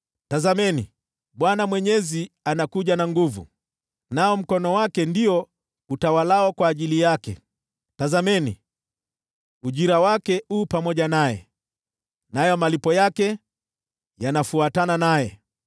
Tazameni, Bwana Mwenyezi anakuja na nguvu, nao mkono wake ndio utawalao kwa ajili yake. Tazameni, ujira wake u pamoja naye, nayo malipo yake yanafuatana naye.